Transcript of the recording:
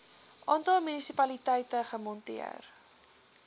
aantal munisipaliteite gemoniteer